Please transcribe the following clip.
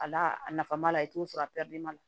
A n'a a nafa b'a la i t'o sɔrɔ a la